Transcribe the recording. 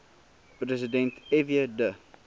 president fw de